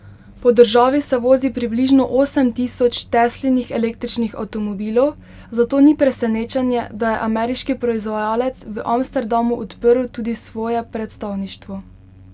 Po državi se vozi približno osem tisoč Teslinih električnih avtomobilov, zato ni presenečenje, da je ameriški proizvajalec v Amsterdamu odprl tudi svoje predstavništvo.